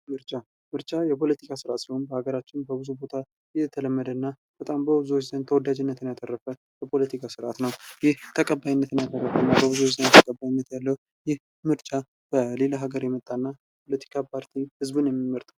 ምርጫ ምርጫ የፖለቲካ ስርዓት ሲሆን በሀገራችን በብዙ ቦታ የተለመደ እና በጣም በብዙዎች ዘንድ ተወዳጅነትን ያተረፈ የፖለቲካ ስርዓት ነው። ይህ ተቀባይነትን ያተረፈ እና በብዙዎች ዘንድ ተቀባይነት ያለው ይህ ምርጫ በሌላ ሀገር የመጣ እና ፖለቲካ ፓርቲ ህዝብ ነው የሚመርጠው።